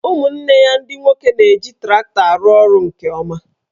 Ụmụnne ya ndị nwoke na-eji traktọ arụ orụ nke ọma